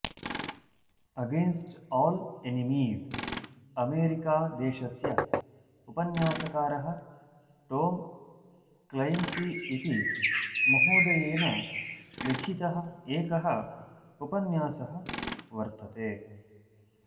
against all enemies America देशस्य उपन्यासकारः Tom Clancy इति महोदयेन लिखितः एकः उपन्यासः वर्तते